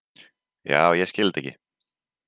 Já, ég skil þetta ekki.